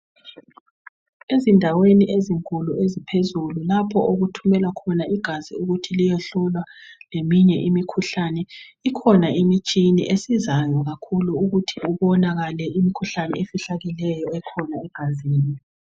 Ezindaweni ezinkulu eziphezulu lapho okuthumelwa khona igazi ukuthi liyehlolwa leminye imikhuhlane. Ikhona imitshini esizayo ukuthi kubonakale imikhuhlane efihlakeleyo ekhona egazini.